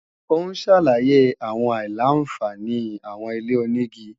Ó ń ṣàlàyé àwọn àìlà-àǹfààní àwọn ilé-onígi